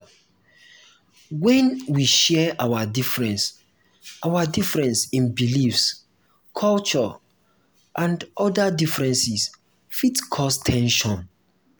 when we share our difference our difference in beliefs culture and oda differences fit cause ten sion